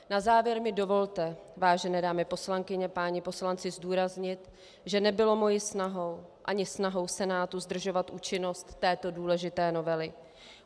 Na závěr mi dovolte, vážené dámy poslankyně, páni poslanci, zdůraznit, že nebylo mojí snahou ani snahou Senátu zdržovat účinnost této důležité novely.